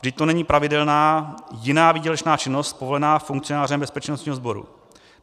Vždyť to není pravidelná jiná výdělečná činnost povolená funkcionářem bezpečnostního sboru.